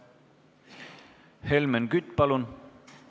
Helmen Kütt, palun!